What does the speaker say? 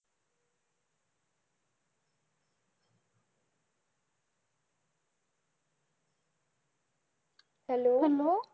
Hello.